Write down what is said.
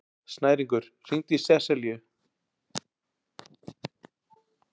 Snæringur, hringdu í Seselíu.